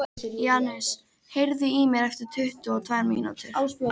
Janus, heyrðu í mér eftir tuttugu og tvær mínútur.